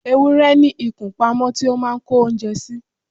ewúrẹ́ ní ikùn pamọ́ tí ó máà ń kó oúnjẹ sí